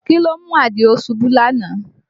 Kí ló mú Àdìó ṣubú lánàá?